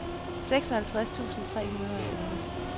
seksoghalvtreds tusind tre hundrede og elleve